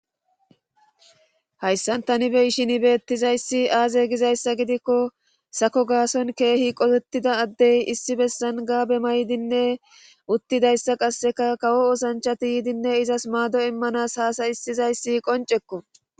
Hayssan tani be ishin ibettizayssi aaze gizayssa gidikko sako gaason keehi qotettida addey issi bessan gaabe maydinne uttidayssa qasseka kawo osanchati yiidinne izas maado immanas haasayissizayssi qoncekko